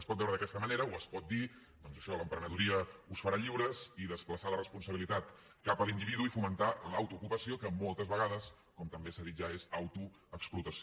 es pot veure d’aquesta manera o es pot dir doncs això l’emprenedoria us farà lliures i desplaçar la responsabilitat cap a l’individu i fomentar l’autoocupació que moltes vegades com també s’ha dit ja és autoexplotació